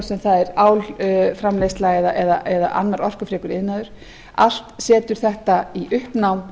sem það er álframleiðsla eða annar orkufrekur iðnaður allt setur þetta í uppnám